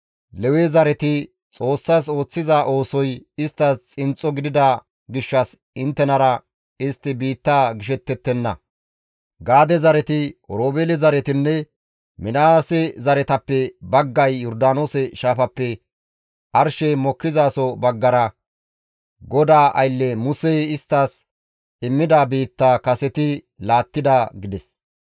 Lewe zareti Xoossas ooththiza oosoy isttas xinxxo gidida gishshas inttenara istti biitta gishettettenna. Gaade zareti, Oroobeele zaretinne Minaase zaretappe baggay Yordaanoose shaafappe arshey mokkizaso baggara GODAA aylle Musey isttas immida biittaa kaseti laattida» gides.